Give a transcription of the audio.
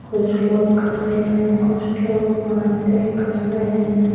कुछ लोग खड़े हैं कुछ लोग बातें कर रहे हैं।